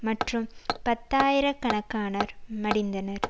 மற்றும் பத்தாயிரக் கணக்கானர் மடிந்தனர்